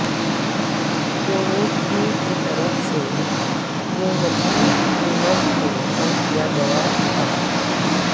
کووکیو کی طرف سے پرووتومینب کو کم کیا گیا تھا